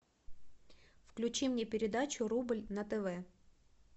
включи мне передачу рубль на тв